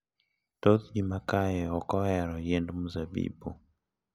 Thoth ji ma kae ok ohero yiend mzabibu .